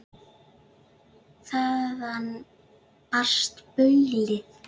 Þaðan barst baulið.